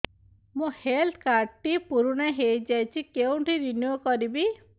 ମୋ health card ଟି ପୁରୁଣା ହେଇଯାଇଛି କେଉଁଠି ରିନିଉ କରିବି